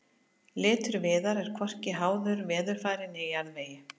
litur viðar er hvorki háður veðurfari né jarðvegi